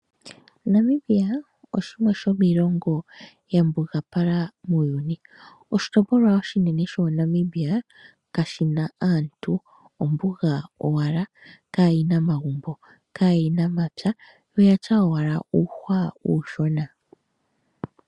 Namibia oshimwe shomii longo ya mbuga pala muuyuni. Oshi topolwa oshinene sho Namibia kashina aantu, ombuga owala kaayina mapya oyatya owala uuhwa uushona.